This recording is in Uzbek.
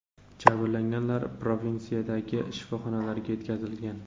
Jabrlanganlar provinsiyadagi shifoxonalarga yetkazilgan.